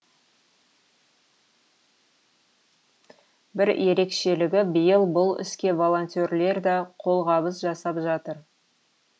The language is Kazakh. бір ерекшелігі биыл бұл іске волонтерлер да қолғабыс жасап жатыр